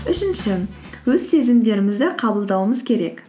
үшінші өз сезімдерімізді қабылдауымыз керек